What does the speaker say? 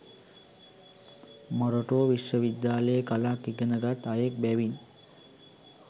මොරටුව විශ්ව විද්‍යාලයේ කලක් ඉගෙනගත් අයෙක් බැවින්